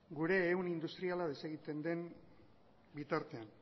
gure ehun industriala desegiten den bitartean